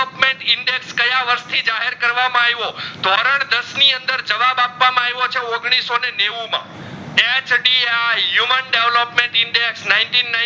કયા વરસ થી જાહેર કરવામાં આઈવો ધોરણ દસ ની અંદર જવાબ આપવામાં આઈવો છે ઓગણીસોનેવ માં HDI human develop index ninteen ninty